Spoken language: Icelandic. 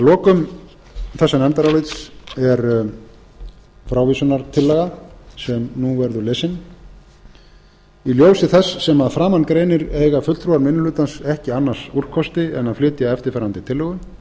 lokum þessa nefndarálits er frávísunartillaga sem nú verður lesin í ljósi þess sem að framan greinir eiga fulltrúar minni hlutans ekki annars úrkosti en að flytja eftirfarandi tillögu